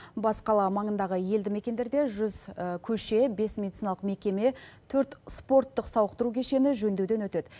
бас қала маңындағы елді мекендерде жүз көше бес медициналық мекеме төрт спорттық сауықтыру кешені жөндеуден өтеді